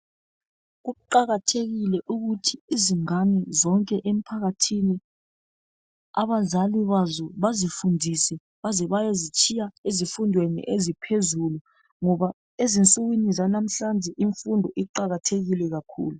Kuqakathekile ukuthi izingane zonke emphakathini abazali bazo bazifundise baze bayozitshiya ezifundweni eziphezulu ngoba ezinsukwini zanamhlanje imfundo iqakathekile kakhulu.